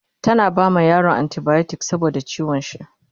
tana bama yaron anti biotics saboda ciwon shi